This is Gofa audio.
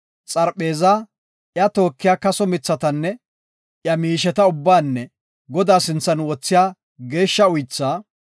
xarpheezaa, iya tookiya kaso mithatanne, iya miisheta ubbaanne Godaa sinthan wothiya geeshsha uythaa;